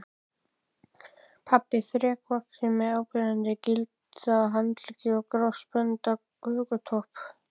Pabbinn þrekvaxinn með áberandi gilda handleggi og grásprengdan hökutopp.